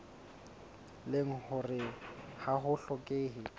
leng hore ha ho hlokehe